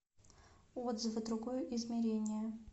отзывы другое измерение